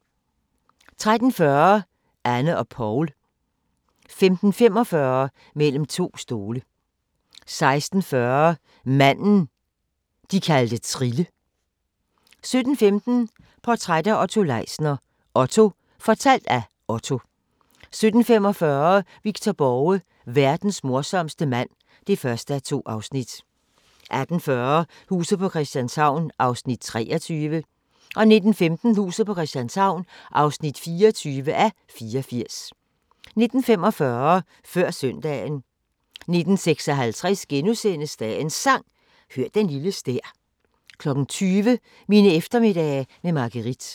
13:40: Anne og Poul 15:45: Mellem to stole 16:40: Manden, de kalder Trille 17:15: Portræt af Otto Leisner: OTTO - fortalt af Otto 17:45: Victor Borge: Verdens morsomste mand (1:2) 18:40: Huset på Christianshavn (23:84) 19:15: Huset på Christianshavn (24:84) 19:45: Før søndagen 19:56: Dagens Sang: Hør den lille stær * 20:00: Mine eftermiddage med Margueritte